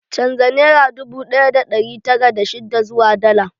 Canja nera dubu ɗaya da ɗari tara da shidda zuwa dala